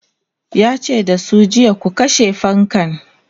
yace da su jiya"ku kashe fankan!'